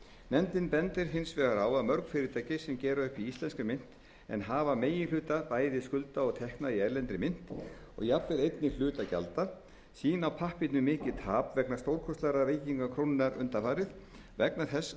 nefndin bendir hins vegar á að mörg fyrirtæki sem gera upp í íslenskri mynt en hafa meginhluta bæði skulda og tekna í erlendri mynt og jafnvel einnig hluta gjalda sýna á pappírnum mikið tap vegna stórkostlegrar veikingar krónunnar undanfarið vegna þess að